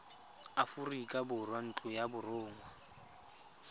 aforika borwa ntlo ya borongwa